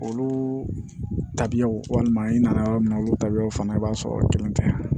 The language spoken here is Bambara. Olu tabiyaw walima i nana yɔrɔ min na olu taabiyaw fana i b'a sɔrɔ o kelen tɛ